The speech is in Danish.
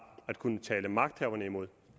at kunne tale magthaverne imod